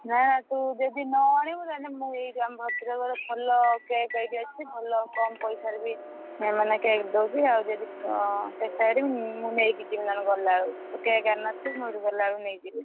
ନା ନା ତୁ ଯଦି ନ ଆଣିବୁ ତାହେନେ ମୁଁ ଏଇଠୁ ଆମ ଭଦ୍ରକର ଭଲ cake ଏଇଠି ଅଛି ଭଲ କମ ପଇସାରେ ବି ମାନେ cake ଦଉଛି ଆଉ ଯଦି ଚେଷ୍ଟା କରିବୁ ମୁଁ ନେଇକି ଯିବି ନହେଲେ ଗଲାବେଳକୁ ତୁ cake ଆଣିନଥିବୁ ମୁଁ ଏଇଠୁ ଗଲାବେଳକୁ ନେଇଯିବି।